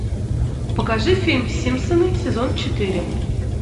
покажи фильм симпсоны сезон четыре